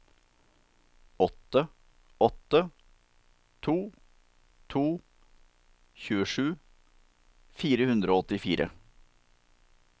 åtte åtte to to tjuesju fire hundre og åttifire